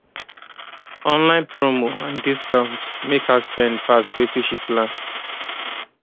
online promo and discount make her spend pass wetin she plan